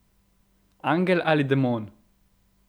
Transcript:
Angel ali demon?